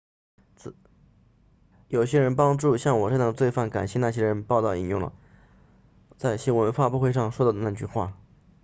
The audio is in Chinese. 有人帮助像我这样的罪犯感谢那些人报道引用了 siriporn 在新闻发布会上说的那句话